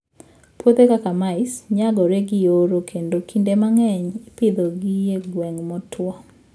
Puothe kaka mice, nyagore gi oro kendo kinde mang'eny ipidhogi e gwenge motwo.